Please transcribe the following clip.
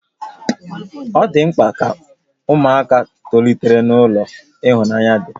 Ọ dị mkpa ka ụmụaka tolite n'ulo ịhụnanya dị